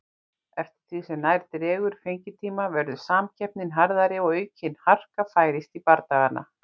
Eftir því sem nær dregur fengitíma verður samkeppnin harðari og aukin harka færist í bardagana.